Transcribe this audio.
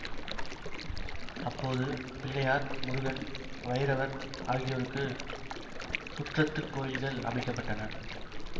அப்போது பிள்ளையார் முருகன் வைரவர் ஆகியோருக்கு சுற்றத்துக் கோயில்கள் அமைக்க பட்டன